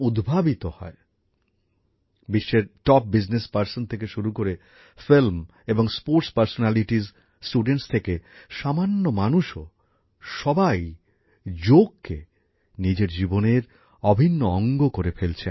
বিশ্বের শীর্ষ স্থানীয় বাণিজ্য জগতের ব্যক্তিত্ব থেকে শুরু করে চলচ্চিত্র ও ক্রীড়া ব্যক্তিত্ব ছাত্রছাত্রী থেকে সামান্য মানুষও সবাই যোগকে নিজের জীবনের অভিন্ন অঙ্গ করে ফেলছেন